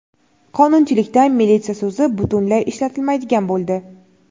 Qonunchilikda "militsiya" so‘zi butunlay ishlatilmaydigan bo‘ldi.